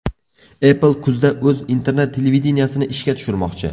Apple kuzda o‘z internet-televideniyesini ishga tushirmoqchi.